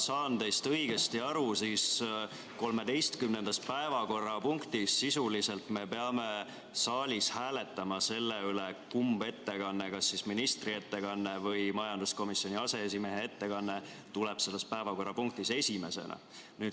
Kui ma teist õigesti aru sain, siis 13. päevakorrapunkti puhul peame me sisuliselt hääletama saalis selle üle, kumb ettekanne, kas ministri ettekanne või majanduskomisjoni aseesimehe ettekanne, tuleb selles päevakorrapunktis esimesena.